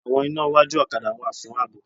Àwọn iná iwájú ọ̀kadà wà fún ààbò